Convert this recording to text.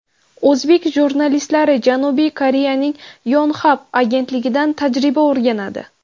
O‘zbek jurnalistlari Janubiy Koreyaning Yonhap agentligidan tajriba o‘rganadi.